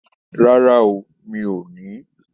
Rara o, mi o ni